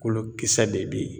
Kolo kisɛ de be ye.